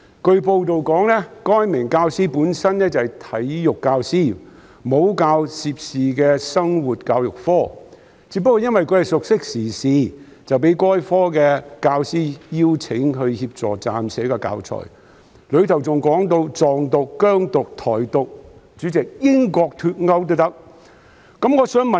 據報道，該名教師是體育科教師，沒有教授涉事的生活教育科，只因為熟悉時事，因此被該科的教師邀請協助編寫教材，當中提及"藏獨"、"疆獨"、"台獨"，連英國脫歐也提及。